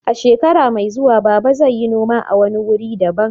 A shekara mai zuwa, Baba zai yi noma a wani wuri daban.